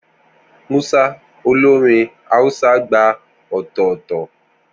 Musa, olórin Hausa, gba ọ̀tọ̀ọ̀tọ̀.